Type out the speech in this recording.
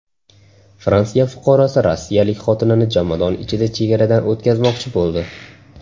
Fransiya fuqarosi rossiyalik xotinini jomadon ichida chegaradan o‘tkazmoqchi bo‘ldi.